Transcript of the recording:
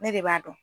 Ne de b'a dɔn